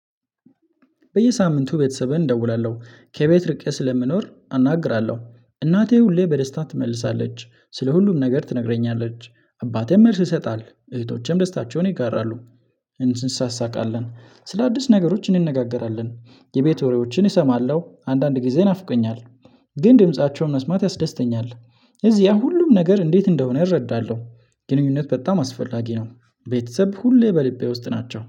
በየሳምንቱ ቤተሰቤን እደውላለሁ ከቤት ርቄ ስለምኖር አናግራለሁ እናቴ ሁሌ በደስታ ትመልሳለች ስለ ሁሉም ነገር ትነግረኛለች አባቴም መልስ ይሰጣል እህቶቼም ደስታቸውን ይጋራሉ። እንትን እንሳሳቃለን ስለ አዲስ ነገሮች እንነጋገራለን የቤት ወሬዎችን እሰማለሁ አንዳንድ ጊዜ ናፍቀኛል። ግን ድምፃቸውን መስማት ያስደስተኛል። እዚያ ሁሉም ነገር እንዴት እንደሆነ እረዳለሁ። ግንኙነት በጣም አስፈላጊ ነው። ቤተሰብ ሁሌ በልቤ ውስጥ ናቸው